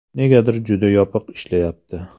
Negadir juda yopiq ishlashyapti.